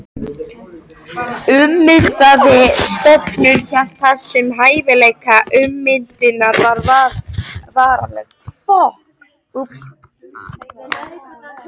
Ummyndaði stofninn hélt þessum hæfileika, ummyndunin var varanleg.